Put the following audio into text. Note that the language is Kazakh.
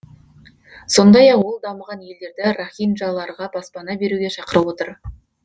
сондай ақ ол дамыған елдерді рохинджаларға баспана беруге шақырып отыр